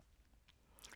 DR K